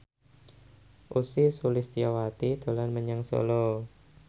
Ussy Sulistyawati dolan menyang Solo